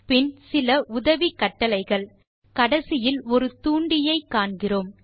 பின் சில உதவிக் கட்டளைகள் கடைசியில் ஒரு தூண்டியை காண்கிறோம்